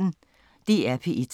DR P1